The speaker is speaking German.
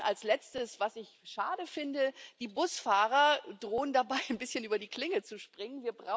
Und dann als Letztes, was ich schade finde Die Busfahrer drohen dabei ein bisschen über die Klinge zu springen.